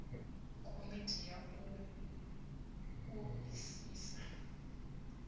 komiti ya u o isisa